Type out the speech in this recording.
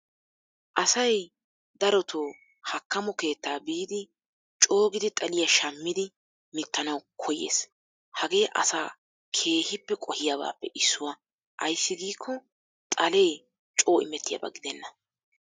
Asay darotto hakkammo keetta biidi coo xaliya shammiddi mittanna koyees. Hagee like gidenna ayssi giiko xalee coo shamiyooba gidenna.